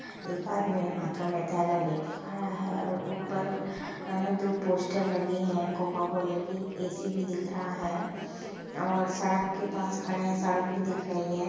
एक आदमी हातो में थैला लेकी खड़ा है ऊपर दो पोस्टर लगे हैं कोको-कोला की ऐ_सी भी दिख रहा है और सड़के पास खड़ा है सड़क बी दिख रही है।